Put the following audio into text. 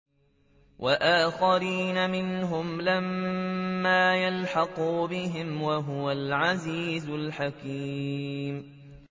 وَآخَرِينَ مِنْهُمْ لَمَّا يَلْحَقُوا بِهِمْ ۚ وَهُوَ الْعَزِيزُ الْحَكِيمُ